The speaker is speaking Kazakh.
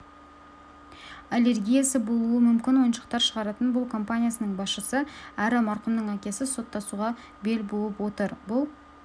аллергиясы болуы мүмкін ойыншықтар шығаратын компаниясының басшысы әрі марқұмның әкесі соттасуға бел буып отыр бұл